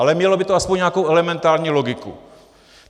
Ale mělo by to aspoň nějakou elementární logiku.